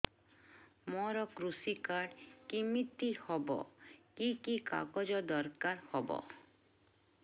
ମୋର କୃଷି କାର୍ଡ କିମିତି ହବ କି କି କାଗଜ ଦରକାର ହବ